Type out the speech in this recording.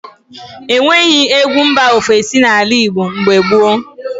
E nweghị egwu mba ofesi n’ala Igbo mgbe gboo.